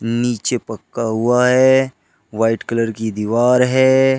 नीचे पक्का हुआ है वाइट कलर की दीवार है।